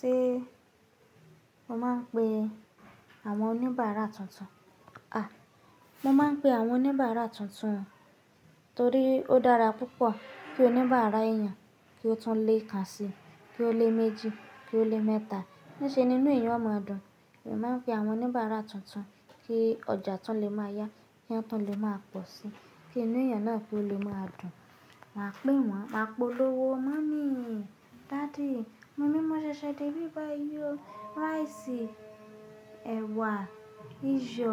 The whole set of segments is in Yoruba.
Ṣé mo máa ń pe àwọn oníbàrà tuntun? A! Mo máa ń pe àwọn oníbárà tuntun, torí ó dára púpọ̀ kí oníbárà èèyàn kí ó tún le kan sí i, kí ó le méjì, kí ó le mẹ́ta. Í ṣe ni inú èèyàn ó máa dùn. Mo máa ń pe àwọn oníbárà tuntun kí ọjà tun le máa yá, ki won tun le máa pọ̀ sí i, kí inú èèyàn náà tun le máa dùn. Màá pè wọ́n, màá polówó "mummy, daddy, mọ̀ ní, mọ ṣẹ̀ṣẹ̀ de ibí bàyii ọ, rice, ẹ̀wà, iyọ,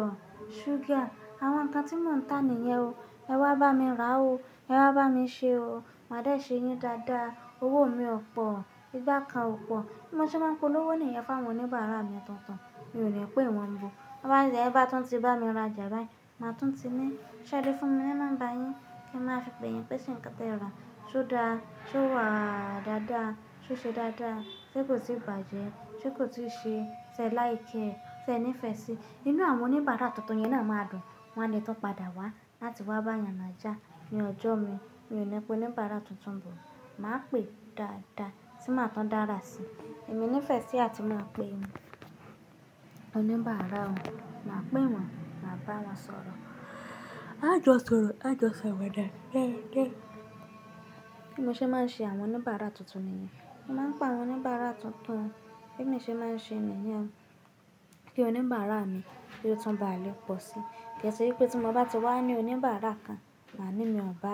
sugar àwọn nǹkan tí mò ń tà nìyẹn o, ẹ wá bá mi rà o, ẹ wá bá mi ṣe o, màá dá ṣe yín dáadáa. Owó mi ò pọ̀, igbá kan ò pọ̀." Bí mo ṣe máa ń polówó nìyẹn fún àwọn oníbàárà mi tuntun, mi ò ní pé wọ́n ńbo. Báyìí ẹni bá tún ti bá mi ra ọjà báyìí, màá tún ti ni. Ṣe ẹ lè fún mi ní nombà yín kí n máa fi pe yín pé ṣẹ̀ nǹkan tí ẹ rà ṣó da, ṣó wà dáadáa, ṣó ṣe dáadáa, ṣe kò tì bàjẹ́, ṣe kò tì ṣe sẹ̀ like kiẹ, sẹ̀ nífẹ̀ẹ́ síi. Inú àwọn oníbàárà tuntun yẹn máà dùn, wọ́n á lẹ́ tun padà wá láti wá báyàn na já ní ọjọ́ mi. Mi ò ní pé oníbàárà tuntun ńbo. Màá pè dáadáa tí màá tún dára síi. Èmi nífẹ̀ẹ́ sí àti máa pe, oníbàárà o, màá pè wọ́n, màá bá wọn sọ̀rọ̀. Á jọ sọ̀rọ̀, tá jọ ṣawada. Gẹ́ẹ̀gẹ́. Bí mo ṣe máa ń ṣe àwọn oníbàárà tuntun ni yen, mo máa ń pa àwọn oníbàárà tuntun. Bí emi ṣe máa ń ṣe níyẹn o. Kí oníbàárà mi kí ó tún bá lè pọ̀ sí i. Kí ẹ ṣe wípé tí mọ bá ti wá ní oníbàárà kan, màá ní mi ọba,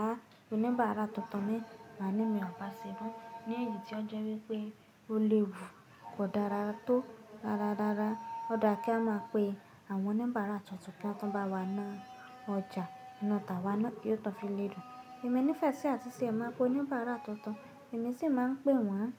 oníbàárà tuntun mi, màá ní mi ọba sẹ́bà mọ. Ní èyí tí ó jọ wípé ó le wù, kò dára tó rára rára. Ó dáa kí a máa pe àwọn oníbàárà tuntun kí wọn tún bá wá ná ọjà, inu tà wá ná yí ó tún fi lé dùn. Èmi nífẹ̀ẹ́ sí àti te máa pe oníbàárà tuntun, èmi ṣì máa ń pè wọ́n.